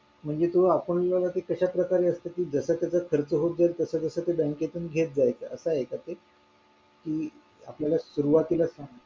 म्हणजे तो आपण कशा प्रकारे असत की जसा जसा खर्च होत जाईल तसा तसा ते bank तून घेत जायचंअसं आहे का ते कि आपल्याला सुरवाती ला